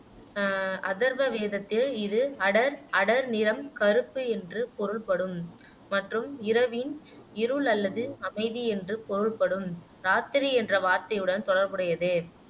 அஹ் அதர்வ வேதத்தில் இது அடர், அடர் நிறம், கருப்பு என்று பொருள்படும் மற்றும் இரவின் இருள் அல்லது அமைதி என்று பொருள்படும் இராத்திரி என்ற வார்த்தையுடன் தொடர்புடையது